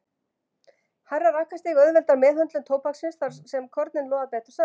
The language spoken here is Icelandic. Hærra rakastig auðveldar meðhöndlun tóbaksins þar sem kornin loða betur saman.